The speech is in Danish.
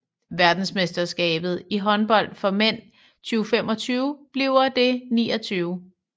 Verdensmesterskabet i håndbold for mænd 2025 bliver det 29